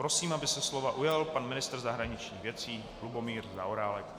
Prosím, aby se slova ujal pan ministr zahraničních věcí Lubomír Zaorálek.